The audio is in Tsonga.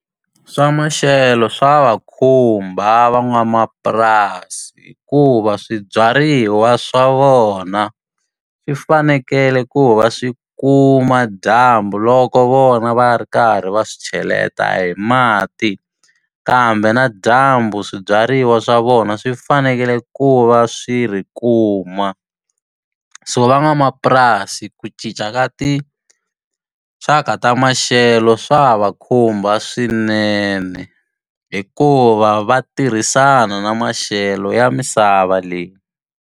Swa maxelo swa va khumba van'wamapurasi, hikuva swibyariwa swa vona swi fanekele ku va swi kuma dyambu loko vona va ri karhi va swi cheleta hi mati. Kambe na dyambu swibyariwa swa vona swi fanekele ku va swi ri kuma. So van'wamapurasi ku cinca ka tinxaka ta maxelo swa ha va khumba swinene, hikuva va tirhisana na maxelo ya misava leyi.